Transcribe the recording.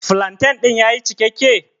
Flantain din ya yi cikakke?